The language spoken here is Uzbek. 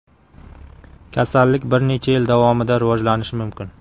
Kasallik bir necha yil davomida rivojlanishi mumkin.